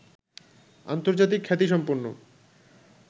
আন্তর্জাতিক খ্যাতিসম্পন্ন